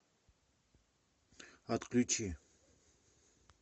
отключи